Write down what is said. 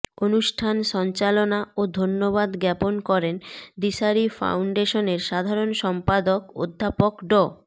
অনুষ্ঠান সঞ্চালনা ও ধন্যবাদ জ্ঞাপন করেন দিশারি ফাউন্ডেশনের সাধারণ সম্পাদক অধ্যাপক ড